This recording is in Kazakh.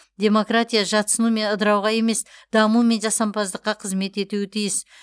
демократия жатсыну мен ыдырауға емес даму мен жасампаздыққа қызмет етуі тиіс